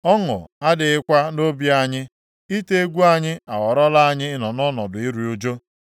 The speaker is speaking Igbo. Ọṅụ adịghịkwa nʼobi anyị; ite egwu anyị aghọọlara anyị ịnọ ọnọdụ iru ụjụ.